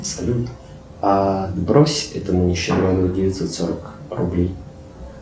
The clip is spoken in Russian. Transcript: салют брось этому нищеброду девятьсот сорок рублей